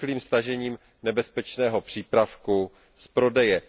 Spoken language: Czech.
rychlým stažením nebezpečného přípravku z prodeje.